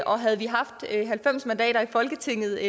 og havde vi haft halvfems mandater i folketinget